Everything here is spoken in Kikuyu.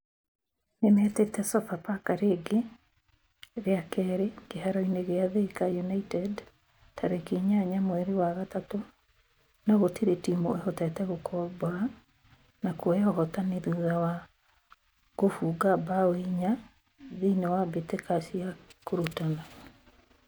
Nĩmetĩte Sofapaka rĩngĩ rĩa kerĩ kĩharo-inĩ gia Thika united tarĩki inyaya mweri wa gatatũ no gũtirĩ timũ ĩhotete gũkombora na kuoya ũhotani thutha wa gũbunga mbaũ inya thĩiniĩ wa mbĩtĩka cia kũrutana